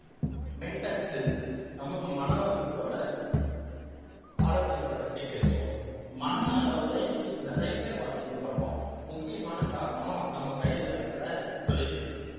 mental health நம்ம மனதோட ஆரோக்கியத்தை பத்தி பேசுவோம் மன அளவுல இன்னைக்கு நிறைய பாதிக்கப்படுறோம் முக்கியமான காரணம் நம்ம கையில இருக்கிற தொலைபேசி